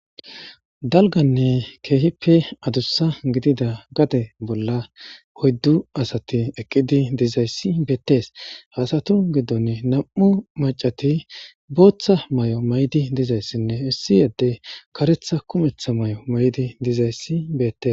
Dalganne keehippe adussa gidida gade bolla hoyddu asati eqqidi dizayssi beettes haasatu giddon nam'u macati booththa may'o maydi dizayssinne issi yadde karetha kumetha may'o maydi dizayssi beette.